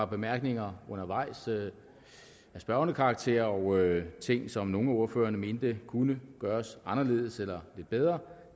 bemærkninger af spørgende karakter og ting som nogle af ordførerne mente kunne gøres anderledes eller lidt bedre